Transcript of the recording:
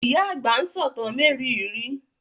Ìyá àgbà ń sọ̀tàn mériìírí